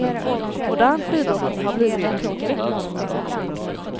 Modern skidåkning har blivit för krånglig.